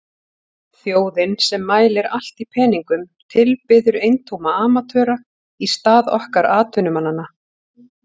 Þjóðin sem mælir allt í peningum tilbiður eintóma amatöra í stað okkar atvinnumannanna.